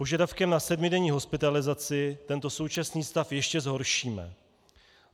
Požadavkem na sedmidenní hospitalizaci tento současný stav ještě zhoršíme.